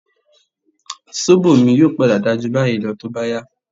Sóbò mi yóò padà dáa jù báyìí lọ tó bá yá